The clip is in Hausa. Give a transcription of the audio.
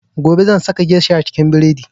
Gobe zan saka geisha cikin buredi